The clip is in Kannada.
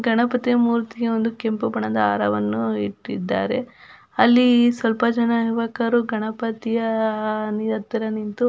ಗಣಪತಿಯ ಮೂರ್ತಿಯ ಒಂದು ಕೆಂಪು ಬಣ್ಣದ ಹಾರವನ್ನು ಇಟ್ಟಿದ್ದಾರೆ ಅಲ್ಲಿ ಸ್ವಲ್ಪ ಜನ ಯುವಕರು ಗಣಪತಿಯ ಹತ್ತಿರ ನಿಂತು --